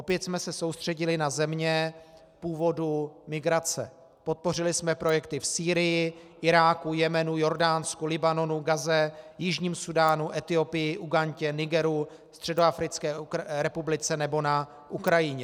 Opět jsme se soustředili na země původů migrace, podpořili jsme projekty v Sýrii, Iráku, Jemenu, Jordánsku, Libanonu, Gaze, Jižním Súdánu, Etiopii, Ugandě, Nigeru, Středoafrické republice nebo na Ukrajině.